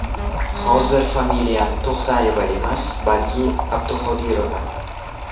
Hozir familiyam To‘xtayeva emas, balki Abduqodirova.